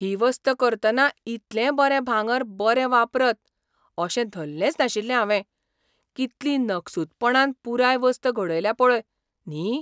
ही वस्त करतना इतलें बरें भांगर बरें वापरत अशें धल्लेंच नाशिल्लें हावें. कितली नकसूदपणान पुराय वस्त घडयल्या पळय, न्ही!